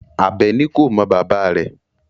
Abeni ko mo baba re